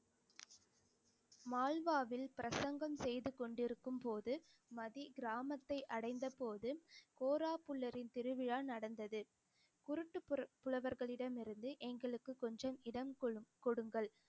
மால்வாவில் பிரசங்கம் செய்து கொண்டிருக்கும்போது மதி கிராமத்தை அடைந்தபோது கோராபுல்லரின் திருவிழா நடந்தது குருட்டு புர~ புலவர்களிடம் இருந்து எங்களுக்கு கொஞ்சம் இடம் கொடு~ கொடுங்கள்